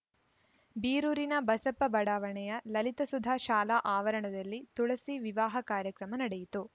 ಬೀರೂರಿನ ಬಸಪ್ಪ ಬಡಾವಣೆಯ ಲಲಿತಸುಧಾ ಶಾಲಾ ಆವರಣದಲ್ಲಿ ತುಳಸಿ ವಿವಾಹ ಕಾರ್ಯಕ್ರಮ ನಡೆಯಿತು